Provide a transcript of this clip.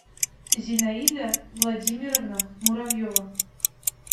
зинаида владимировна муравьева